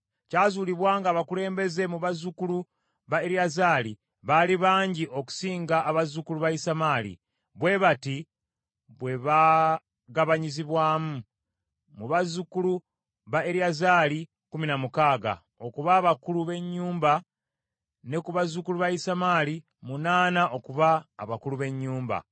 Kyazuulibwa nga abakulembeze mu bazzukulu ba Eriyazaali baali bangi okusinga abazzukulu ba Isamaali, bwe bati bwe bagabanyizibwamu: mu bazzukulu ba kkumi na mukaaga, okuba abakulu b’ennyumba ne ku bazzukulu ba Isamaali munaana okuba abakulu b’ennyumba.